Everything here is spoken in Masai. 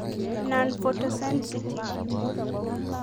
nonphotosensitive